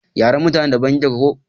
yaren mutanen da daban yake ko?